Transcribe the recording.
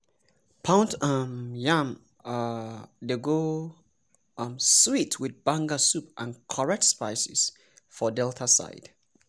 pound um yam um dey go um sweet with banga soup and correct spices for delta side.